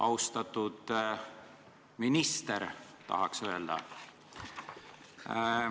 "Austatud minister" tahaks öelda.